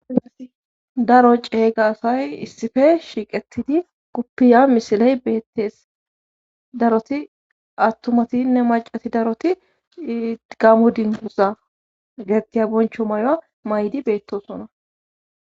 a daro ceeyga asay issife shiiqetidi guppiya misiley beettees daroti attumatinne macati daroti igamu dinguza getettiya boncho maya may7di beettosona